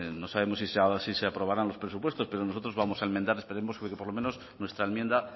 no sabemos si se aprobarán los presupuestos pero nosotros vamos a enmendar esperemos que por lo menos nuestra enmienda